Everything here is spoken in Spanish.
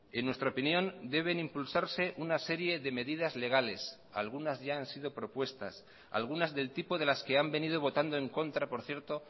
en nuestra opinión deben impulsarse una serie de medidas legales algunas ya han sido propuestas algunas del tipo de las que han venido botando en contra por cierto